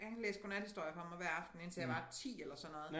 Han læste godnathistorie for mig hver aften indtil jeg var 10 eller sådan noget